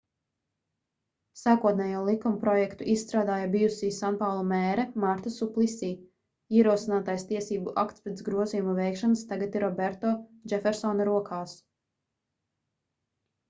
sākotnējo likumprojektu izstrādāja bijusī sanpaulu mēre marta suplisī ierosinātais tiesību akts pēc grozījumu veikšanas tagad ir roberto džefersona rokās